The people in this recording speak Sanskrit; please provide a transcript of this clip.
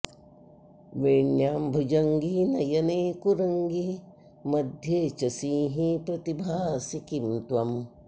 वेण्यां भुजङ्गी नयने कुरङ्गी मध्ये च सिंही प्रतिभासि किं त्वम्